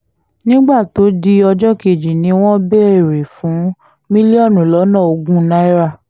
nígbà tó di ọjọ́ kejì ni wọ́n béèrè fún mílíọ̀nù lọ́nà ogún náírà